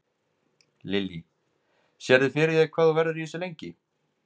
Lillý: Sérðu fyrir þér hvað þú verður í þessu lengi?